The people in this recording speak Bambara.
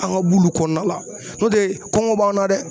An ga b'olu kɔnɔna la n'o tɛ kɔngɔ b'an na dɛ